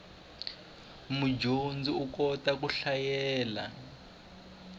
mudyondzi u kota ku hlayela